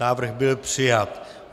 Návrh byl přijat.